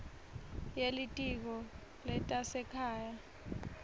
ye litiko letasekhaya